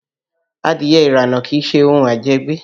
Adìẹ ìrànà kìí ṣe ohun àjẹgbé